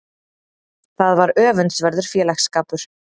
Það var öfundsverður félagsskapur.